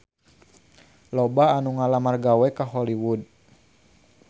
Loba anu ngalamar gawe ka Hollywood